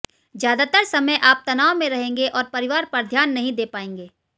ज्यादातर समय आप तनाव में रहेंगे और परिवार पर ध्यान नहीं दे पाएंगे